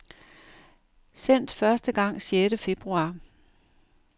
Sendt første gang sjette februar.